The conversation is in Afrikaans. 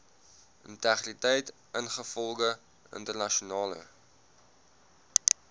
integriteit ingevolge internasionale